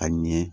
A ɲɛ